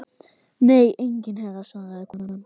Nei enginn herra svaraði konan.